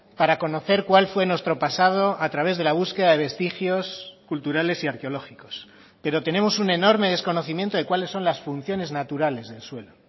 para conocer cuál fue nuestro pasado a través de la búsqueda de vestigios culturales y arqueológicos pero tenemos un enorme desconocimiento de cuáles son las funciones naturales del suelo